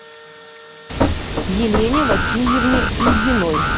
елене васильевне ильиной